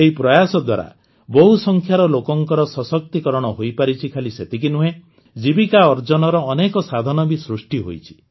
ଏହି ପ୍ରୟାସ ଦ୍ୱାରା ବହୁସଂଖ୍ୟାର ଲୋକଙ୍କର ସଶକ୍ତିକରଣ ହୋଇପାରିଛି ଖାଲି ସେତିକି ନୁହେଁ ଜୀବିକା ଅର୍ଜନର ଅନେକ ସାଧନ ବି ସୃଷ୍ଟି ହୋଇଛି